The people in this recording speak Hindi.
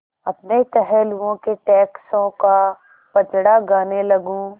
अपने टहलुओं के टैक्सों का पचड़ा गाने लगूँ